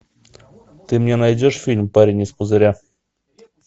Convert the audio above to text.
ты мне найдешь фильм парень из пузыря